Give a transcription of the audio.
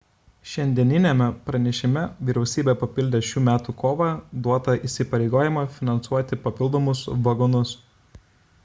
šiandieniniame pranešime vyriausybė papildė šių metų kovą duotą įsipareigojimą finansuoti papildomus vagonus